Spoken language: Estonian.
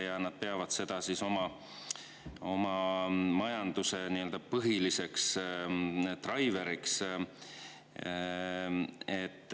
Ja nad peavad seda oma majanduse põhiliseks driver'iks.